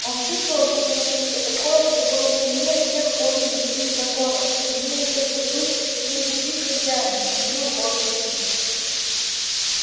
он чувствовал в себе нечто такое что было сильнее всех познанных им законов сильнее всех привычек сильнее любви к хозяину сильнее воли к жизни